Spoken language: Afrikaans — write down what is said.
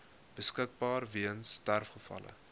beskikbaar weens sterfgevalle